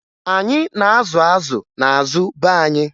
Anyị na-azụ azụ n'azụ be anyị